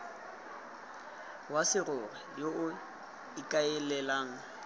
wa serori yo o ikaelelang